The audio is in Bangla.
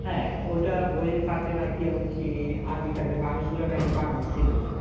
হ্যাঁ ওটা বইয়ের থাকে আর কি এমনকি আদিকালের মানুষগুলা নাকি বানর ছিল